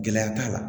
Gɛlɛya t'a la